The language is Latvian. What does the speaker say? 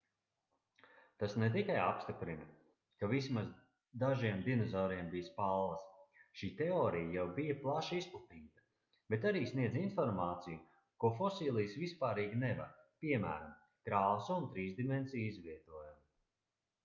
tas ne tikai apstiprina ka vismaz dažiem dinozauriem bija spalvas šī teorija jau bija plaši izplatīta bet arī sniedz informāciju ko fosilijas vispārīgi nevar piemēram krāsu un trīsdimensiju izvietojumu